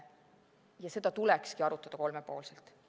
Ja seda tulekski arutada kolmepoolselt.